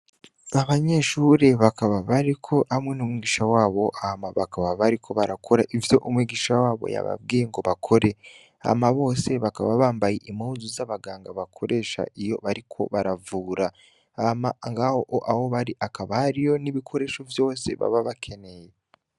Abanyeshure bakaba bariko hamwe n'umwigisha wabo ahama bakaba bariko barakora ivyo umwigisha wabo yababwiye ngo bakore, ama bose bakaba bambaye imazu z'abaganga bakoresha iyo bariko baravura, ama ngaho o aho bari akabariyo n'ibikoresho vyose baba bakeneye.